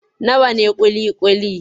Nawa ne ƙuli-ƙuli?